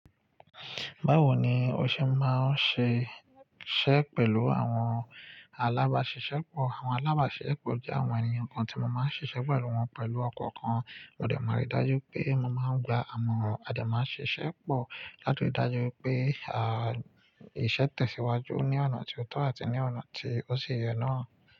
Báwo ni o ṣe máa ń ṣe iṣẹ́ pẹ̀lú àwọn alábàṣiṣẹ́pọ̀? Àwọn alábàṣiṣẹ́pọ̀ jẹ́ àwọn ènìyàn kan tí mo máa ń ṣiṣẹ́ pẹ̀lú wọn pẹ̀lú ọkọ̀ kan. Ó dẹ máa rí dájú pé mo máa ń gba amoran àdẹmásiṣẹ́pọ̀ láti dájú pé, à, iṣẹ́ tẹ̀síwájú ní ọ̀nà tí ó tọ́ àti ní ọ̀nà tí ó ṣe yẹ náà.